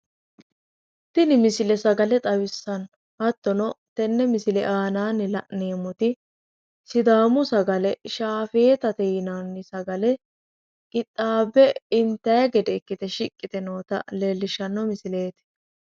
Tini misile sagale xawissanno hattono tenne misile aanaanni la’neemmoti sidaamu sagale shaafeetate yinanni sagale qixxaabbe intayi gede ikkite shiiqqi yite noota leellishshanno misileeti.